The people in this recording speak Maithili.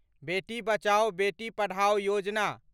बेटी बचाओ, बेटी पढ़ाओ योजना